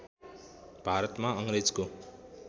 भारतमा अङ्ग्रेजको